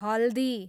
हल्दी